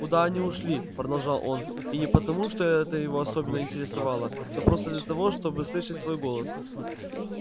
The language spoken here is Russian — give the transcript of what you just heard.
куда они ушли продолжал он и не потому что это его особенно интересовало но просто для того чтобы слышать свой голос